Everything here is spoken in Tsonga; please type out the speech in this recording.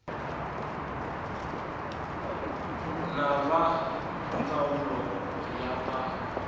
na va ndzawulo ya ta